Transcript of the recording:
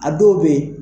A dɔw bɛ yen